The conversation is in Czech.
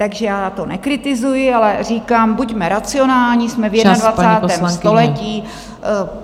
Takže já to nekritizuji, ale říkám, buďme racionální, jsme v 21. století.